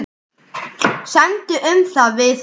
Semdu um það við hann.